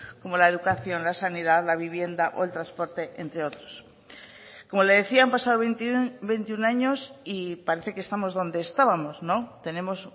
como la educación la sanidad la vivienda o el transporte entre otros como le decía han pasado veintiuno años y parece que estamos donde estábamos tenemos